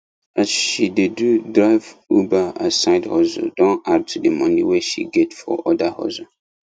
as she dey do drive uber as side hustle don add to the money wey she get for other hustle